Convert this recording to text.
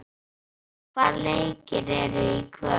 Minný, hvaða leikir eru í kvöld?